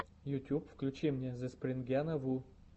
ютюб включи мне зэспрингяна ву